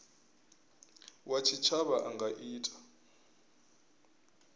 wa tshitshavha a nga ita